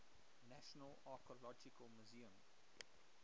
national archaeological museum